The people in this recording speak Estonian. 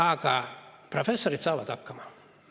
Aga professorid saavad hakkama.